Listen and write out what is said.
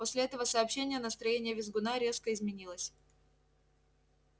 после этого сообщения настроение визгуна резко изменилось